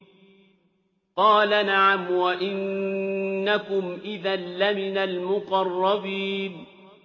قَالَ نَعَمْ وَإِنَّكُمْ إِذًا لَّمِنَ الْمُقَرَّبِينَ